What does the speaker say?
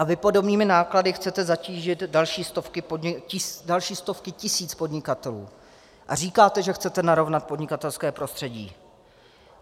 A vy podobnými náklady chcete zatížit další stovky tisíc podnikatelů a říkáte, že chcete narovnat podnikatelské prostředí.